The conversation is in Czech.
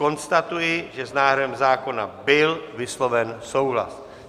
Konstatuji, že s návrhem zákona byl vysloven souhlas.